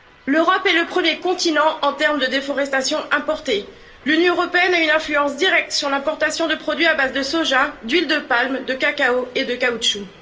L'Europe est le premier continent en termes de déforestation importée. L'Union européenne a une influence directe sur l'importation de produits à base de soja, d'huile de palme, de cacao et de caoutchouc.